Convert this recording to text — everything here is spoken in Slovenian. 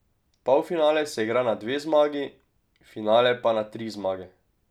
Polfinale se igra na dve zmagi, finale pa na tri zmage.